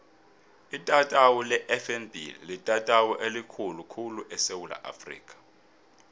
itatawu lefnb litatawu elikhulu khulu esewula afrika